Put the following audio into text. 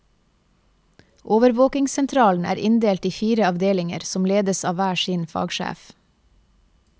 Overvåkingssentralen er inndelt i fire avdelinger som ledes av hver sin fagsjef.